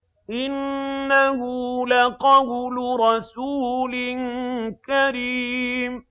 إِنَّهُ لَقَوْلُ رَسُولٍ كَرِيمٍ